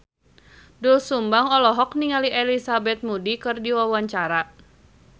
Doel Sumbang olohok ningali Elizabeth Moody keur diwawancara